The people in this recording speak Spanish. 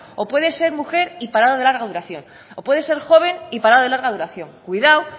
o puede ser mujer y parado de larga duración o puede ser joven y parado de larga duración cuidado